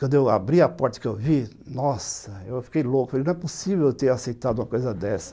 Quando eu abri a porta que eu vi, nossa, eu fiquei louco, falei, não é possível eu ter aceitado uma coisa dessa.